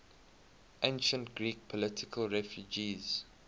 ancient greek political refugees